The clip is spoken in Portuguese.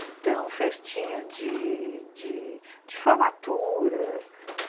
Então, festinha de formatura.